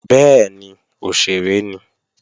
Bẹ́ẹ̀ni, òṣèré ni